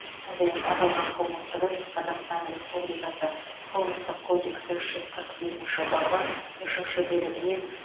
сондай ақ аталған қылмыстық іс қазақстан республикасы қылмыстық кодексінің үш жүз қырық бесінші бабы үшінші бөлігіне